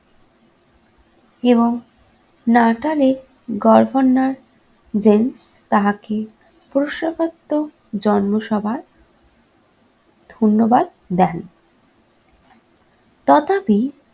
এবং নাটালের governor James তাহাকে জন্ম সভার ধন্যবাদ দেন। তথাপি